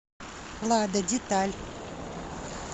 лада деталь